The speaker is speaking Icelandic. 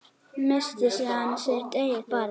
Missti síðan sitt eigið barn.